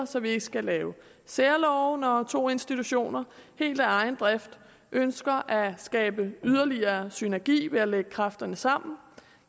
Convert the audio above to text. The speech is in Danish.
så vi ikke skal lave særlove når to institutioner helt af egen drift ønsker at skabe yderligere synergi ved at lægge kræfterne sammen